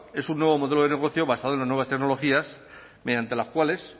es un nuevo modelo de negocio basado en las nuevas tecnologías mediante las cuales